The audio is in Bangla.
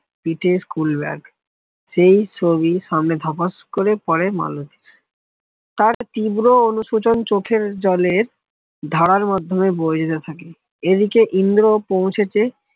পিঠে school bag সেই ছবি সামনে ধাস করে পরে তার তীব্র অনুশোচনা চোখের জলের ধারার মাধ্যমে বৈশাখী এদিকে ইন্দ্র পৌঁছেছে